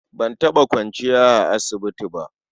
Ban taɓa kwanciya a asibiti ba.